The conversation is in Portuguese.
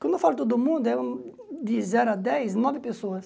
Quando eu falo todo mundo, é de zero a dez, nove pessoas.